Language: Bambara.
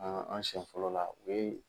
An an siɲɛ fɔlɔ la, u ye.